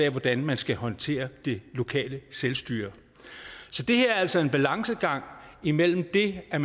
af hvordan man skal håndtere det lokale selvstyre så det er altså en balancegang imellem det at